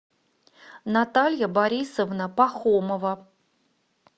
наталья борисовна пахомова